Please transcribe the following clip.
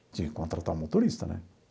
Tinha que contratar um motorista, né?